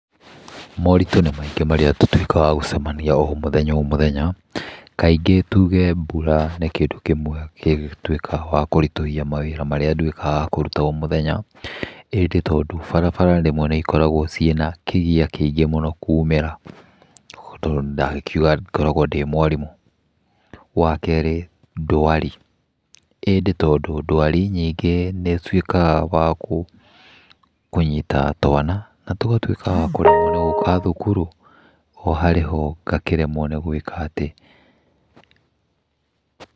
Moritũ nĩ maingĩ marĩa tũtuĩkaga wa gũcemania o mũthenya o mũthenya, kaingĩ tũge mbũra nĩ kĩndũ kĩmwe gĩtuĩkaga wa kũritũhia mawira marĩa nduĩkaga wa kũruta o mũthenya. Ĩndĩ tondũ barabara rĩmwe nĩ ikoragwo ciĩna kĩgia kĩingĩ mũno kuumĩra, tondũ ndakiuga ngoragwo ndĩ mwarimũ. Wakerĩ, ndwari. Ĩndĩ tondũ ndwari nyingĩ nĩ ĩtuĩkaga cia kũnyita twana, na tũkaremwo nĩ gũka thukuru, oharĩho ngaremwo nĩ gũĩkatĩ.